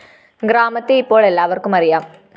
ഗ്രാമത്തെ ഇപ്പോള്‍ എല്ലാവര്‍ക്കും അറിയാം